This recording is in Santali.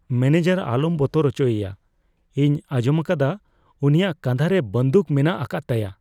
ᱢᱚᱱᱮᱡᱟᱨ ᱟᱞᱚᱢ ᱵᱚᱛᱚᱨ ᱚᱪᱚᱭᱮᱭᱟ ᱾ ᱤᱧ ᱟᱸᱡᱚᱢᱟᱠᱟᱫᱟ ᱩᱱᱤᱭᱟᱜ ᱠᱟᱸᱫᱷᱟᱨᱮ ᱵᱟᱹᱫᱩᱠ ᱢᱮᱱᱟᱜ ᱟᱠᱟᱫ ᱛᱟᱭᱟ ᱾